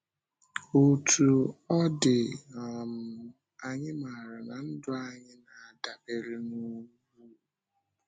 Òtú ọ dị, um anyị maara na ndụ anyị na-adabere n’ugwu.